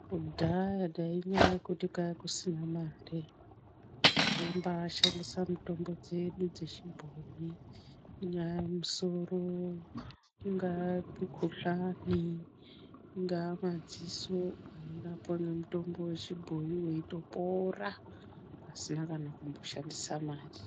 Kudhaya ngenyaya yekuti kwakusina mare taimbaa shandisa mitombo dzedu dzechibhoyi ungaa musoro ingaa mikhuhlane ingaa madziso tairapwa ngemutombo yechibhoyi weitopora pasina kana kumboshandisa mari